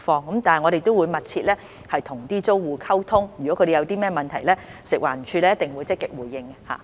不過，我們會與租戶密切溝通，如他們有何問題，食環署一定會積極回應。